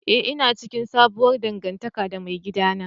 Eh ina cikin sabuwar dangantaka da maigidana.